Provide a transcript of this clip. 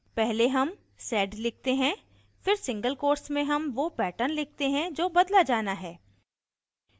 पहले हम sed लिखते हैं फिर single quotes में हम वो pattern लिखते हैं जो बदला जाना है